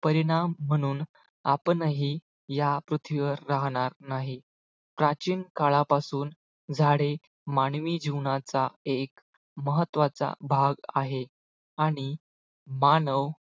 परिणाम म्हणून आपणही या पृथ्वीवर राहणार नाही. प्राचीन काळापासून झाडे मानवी जीवनाचा एक महत्वाचा भाग आहे आणि मानव